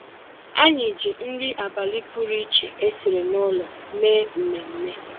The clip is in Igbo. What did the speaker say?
Ànyị́ jí nrí àbálị́ pụ̀rụ̀ iche ésìrí nụ́lọ̀ méé mmèmme.